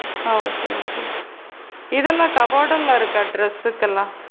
ஓ! சேரி சேரி இதலாம் cupboard லா இருக்கா டிரஸ்க்குலா?